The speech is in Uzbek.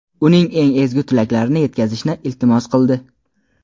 uning eng ezgu tilaklarini yetkazishni iltimos qildi.